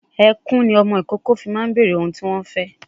Ẹkùn ni ọmọ ìkókó máa ń fi bèrè ohun tí wọ́n fẹ́